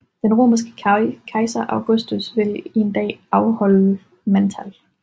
Den romerske kejser Augustus vil en dag afholde mandtal